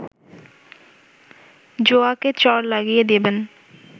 যোয়াকে চড় লাগিয়ে দেবেন!